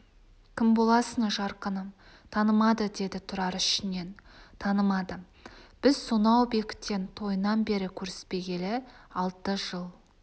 кім боласың жарқыным танымады деді тұрар ішінен танымады біз сонау бектен тойынан бері көріспегелі алты жыл